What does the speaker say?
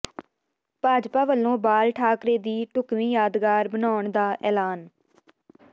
ਭਾਜਪਾ ਵੱਲੋਂ ਬਾਲ ਠਾਕਰੇ ਦੀ ਢੁੱਕਵੀਂ ਯਾਦਗਾਰ ਬਣਾਉਣ ਦਾ ਐਲਾਨ